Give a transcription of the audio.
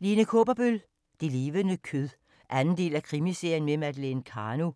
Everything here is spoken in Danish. Kaaberbøl, Lene: Det levende kød 2. del af Krimiserien med Madeleine Karno.